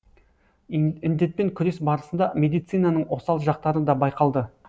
індетпен күрес барысында медицинаның осал жақтары да байқалды